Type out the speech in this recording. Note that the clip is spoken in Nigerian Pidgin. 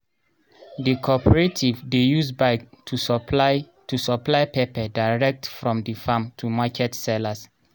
the corporative dey use bike to supply to supply pepper direct from the farm to market sellers